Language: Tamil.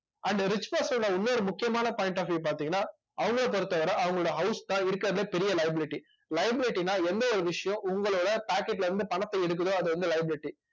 and rich person ல இன்னொரு முக்கியமான point of view பார்த்தீங்கன்னா அவங்களை பொறுத்தவரை அவங்களோட house தான் இருக்கிறதுலியே பெரிய liability liability ன்னா எந்த ஒரு விஷயம் உங்களோட packet ல இருந்து பணத்தை எடுக்குதோ அது வந்து libility